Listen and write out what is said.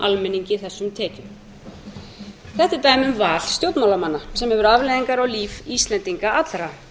almenningi þessum tekjum þetta er dæmi um val stjórnmálamanna sem hefur afleiðingar á líf íslendinga allra